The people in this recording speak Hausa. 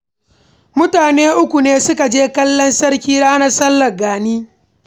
Mutane uku ne suka je kallon hawan sarki na sallar Gani